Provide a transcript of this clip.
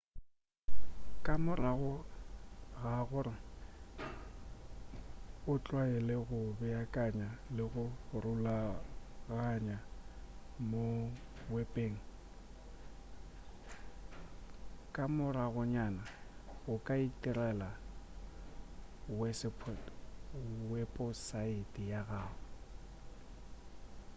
ka morago ga gore o tlwaele go beakanya le go rulaganya mo wepeng ka moragonyana o ka itirela weposaete ya gago